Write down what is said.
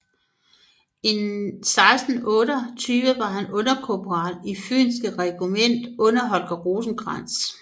I 1628 var han underkorporal i fynske regiment under Holger Rosenkrantz